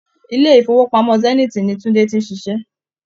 Ilé-ìfowópamọ́ Zenith ni Tunde ti ń ṣiṣẹ́.